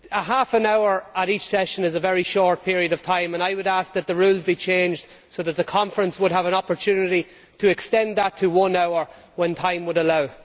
Half an hour at each part session is a very short period of time and I would ask that the rules be changed so that the Conference would have an opportunity to extend that to one hour when time allows.